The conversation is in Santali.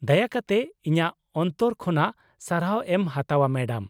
ᱫᱟᱭᱟ ᱠᱟᱛᱮ ᱤᱧᱟᱹᱜ ᱚᱱᱛᱚᱨ ᱠᱷᱚᱱᱟᱜ ᱥᱟᱨᱦᱟᱣ ᱮᱢ ᱦᱟᱛᱟᱣᱼᱟ , ᱢᱮᱰᱟᱢ ᱾